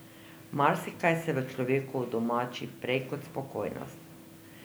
Marsikaj se v človeku udomači prej kot spokojnost.